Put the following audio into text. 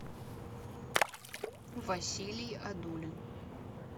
василий одулин